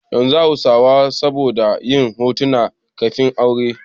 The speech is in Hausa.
Yanzu hausawa sun saba da yin hoton kafin-aure.